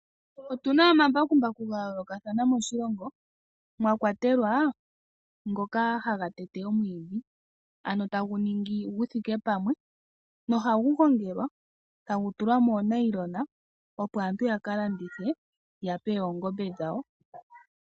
Otu na omambakumbaku ga yoolokathana moshilongo, mwa kwatelwa ngoka haga tete omwiidhi. Ano tagu ningi gu thike pamwe nohagu gongelwa, tagu tulwa moonayilona opo aantu ya ka landithe ya pe oongombe dhawo.